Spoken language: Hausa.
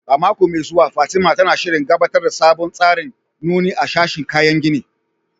A mako mai zuwa, Fatima, tana shirin gabatar da sabon tsarin nuni a sashin kayan gini